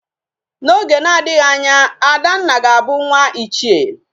Na Oge na adighi Anya, Adanna ga Abu nwa ichie